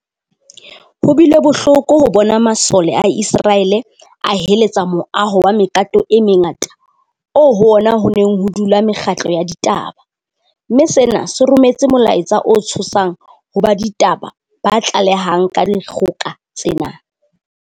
Ho bile bohloko ho bona masole a Iseraele a heletsa moaho wa mekato e mengata oo ho ona ho neng ho dula mekgatlo ya ditaba, mme sena se rometse molaetsa o tshosang ho ba ditaba ba tlalehang ka dikgoka tsena.